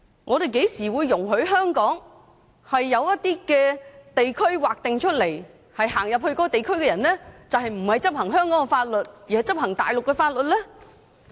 我們甚麼時候會容許在香港劃定某些地區，對走入該地區的人不執行香港的法律，而是執行大陸法律的呢？